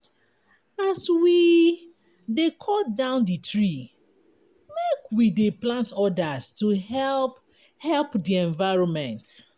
As we dy cut down di tree, make we dey plant odas to help help di evironment.